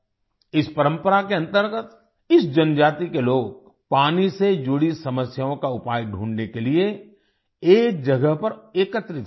इस परम्परा के अंतर्गत इस जनजाति के लोग पानी से जुड़ी समस्याओं का उपाय ढूँढने के लिए एक जगह पर एकत्रित होते हैं